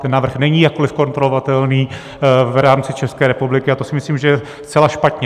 Ten návrh není jakkoli kontrolovatelný v rámci České republiky a to si myslím, že je zcela špatně.